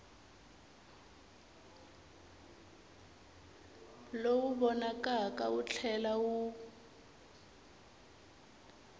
lowu vonakaka wu tlhela wu